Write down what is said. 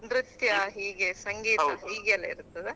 ನೃತ್ಯ ಹೀಗೆ ಸಂಗೀತ ಹೀಗೆ ಎಲ್ಲ ಇರ್ತದ.